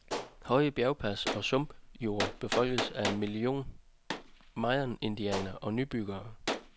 Høje bjergpas og sumpjorde befolkes af en million mayaindianere og nybyggere.